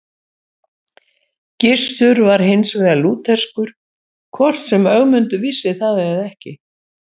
Gissur var hins vegar lútherskur, hvort sem Ögmundur vissi það eða ekki.